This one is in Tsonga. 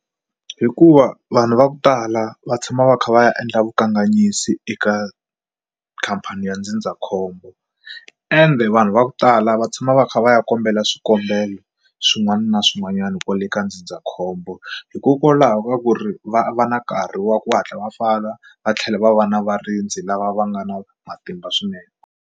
Hikuva vanhu va ku tala va tshama va kha va ya endla vukanganyisi eka khampani ya ndzindzakhombo ende vanhu va ku tala va tshama va kha va ya kombela swikombelo swin'wana na swin'wanyana kwale ka ndzindzakhombo hikokwalaho ka ku ri va va na nkarhi wa ku hatla va pfala va tlhela va va na varindzi lava va nga na matimba swinene.